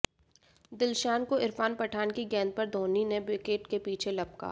दिलशान को इरफान पठान की गेंद पर धोनी ने विकेट के पीछे लपका